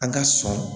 An ka sɔn